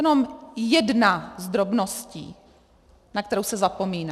Jenom jedna z drobností, na kterou se zapomíná.